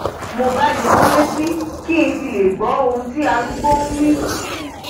mo bá yọ ọ létí kí ng fi lè gbọhun tí arúgbó nwí